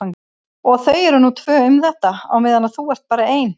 Og þau eru nú tvö um þetta á meðan þú ert bara ein.